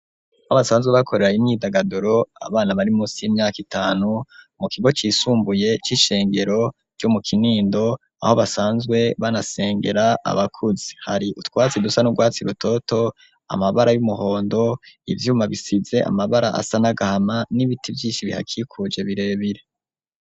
Habasanzwe bakorera inyidagaduro abana bari musi y'imyaka itanu mu kigo cisumbuye c'ishengero ryo mu kinindo aho basanzwe banasengera abakuzi hari utwatsi dusa n'urwatsi i butoto amabara y'umuhondo ivyuma bisize amabara asa n'agahama n'ibiti vyinshi bihakikuje birebire.